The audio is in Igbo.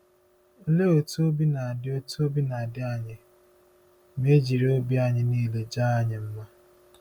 Olee otú obi na-adị otú obi na-adị anyị ma e jiri obi anyị niile jaa anyị mma?